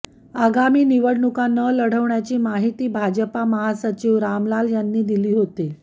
आगामी निवडणूका न लढवण्याची माहिती भाजपा महासचिव रामलाल यांना दिली होती